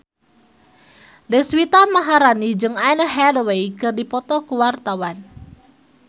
Deswita Maharani jeung Anne Hathaway keur dipoto ku wartawan